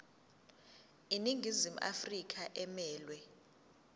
iningizimu afrika emelwe